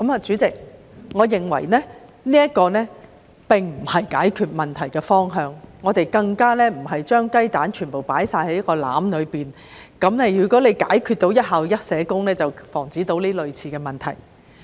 主席，我認為這並非解決問題的方法，我們更不應該把全部雞蛋放在同一個籃子，以為只要做到"一校一社工"便能防止類似的問題。